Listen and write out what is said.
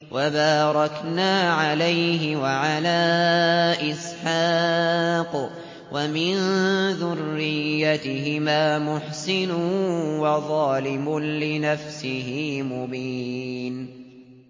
وَبَارَكْنَا عَلَيْهِ وَعَلَىٰ إِسْحَاقَ ۚ وَمِن ذُرِّيَّتِهِمَا مُحْسِنٌ وَظَالِمٌ لِّنَفْسِهِ مُبِينٌ